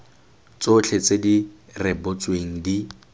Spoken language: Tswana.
tsotlhe tse di rebotsweng di